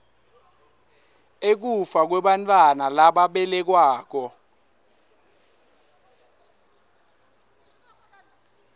ekufa kwebantfwana lababelekwako